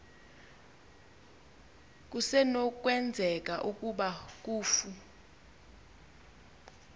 kusenokwenzeka ukuba kufu